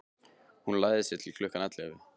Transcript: Hún lagði sig til klukkan ellefu.